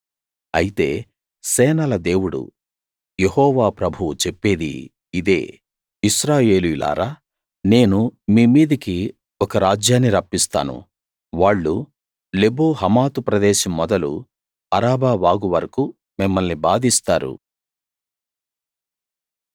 అయితే సేనల దేవుడు యెహోవా ప్రభువు చెప్పేది ఇదే ఇశ్రాయేలీయులారా నేను మీ మీదికి ఒక రాజ్యాన్ని రప్పిస్తాను వాళ్ళు లెబో హమాతు ప్రదేశం మొదలు అరాబా వాగు వరకూ మిమ్మల్ని బాధిస్తారు